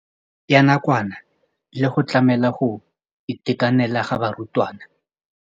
Ya nakwana le go tlamela go itekanela ga barutwana.